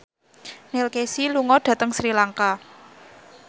Neil Casey lunga dhateng Sri Lanka